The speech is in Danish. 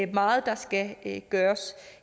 meget der skal gøres